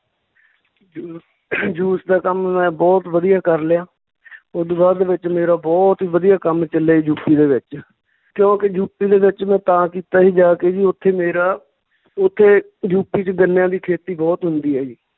ਜੂ~ juice ਦਾ ਕੰਮ ਮੈਂ ਬਹੁਤ ਵਧੀਆ ਕਰ ਲਿਆ ਓਦੂ ਬਾਅਦ ਦੇ ਵਿੱਚ ਮੇਰਾ ਬਹੁਤ ਹੀ ਵਧੀਆ ਕੰਮ ਚੱਲਿਆ ਯੂਪੀ ਦੇ ਵਿੱਚ, ਕਿਉਂਕਿ ਯੂਪੀ ਦੇ ਵਿੱਚ ਮੈਂ ਤਾਂ ਕੀਤਾ ਜੀ ਜਾ ਕੇ ਜੀ ਉੱਥੇ ਮੇਰਾ ਉੱਥੇ ਯੂਪੀ ਚ ਗੰਨਿਆਂ ਦੀ ਖੇਤੀ ਬਹੁਤ ਹੁੰਦੀ ਆ ਜੀ